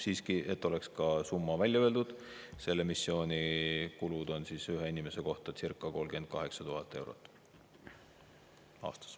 Siiski, et oleks ka summa välja öeldud: selle missiooni kulud on ühe inimese kohta circa 38 000 eurot aastas.